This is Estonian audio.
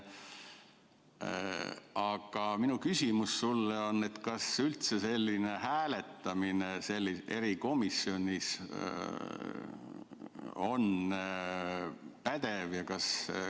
Aga minu küsimus sulle: kas selline hääletamine erikomisjonis on üldse pädev?